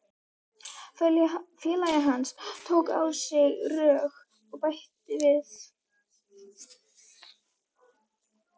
Félagi hans tók á sig rögg og bætti við